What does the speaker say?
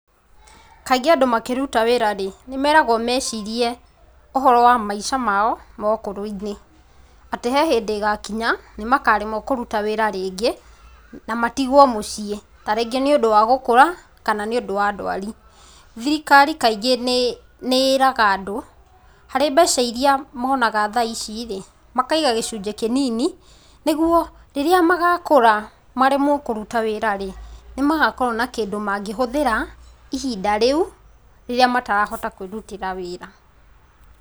Kaingĩ andũ makĩruta wĩra rĩ nĩmeragwo mecirie ũhoro wa maica mao maũkũrũinĩ atĩ he hĩndĩ ĩgakinya ,makaremwo kũruta wĩra rĩngĩ na matigwo mũciĩ kaingĩ nĩ ũndũ wa gũkũra kana nĩũndũ wa ndwari, thirikari kaingĩ nĩ ĩraga andũ harĩ mbeca irĩa monaga thaa ici rĩ makaiga gĩcujĩ kĩnini nĩguo rĩrĩa magakũra maremwo kũrũta wĩra rĩ nĩmagakorwo na kĩndũ mangĩhuthĩra ihinda rĩu rĩrĩa matakahota kwĩrutĩra wĩra .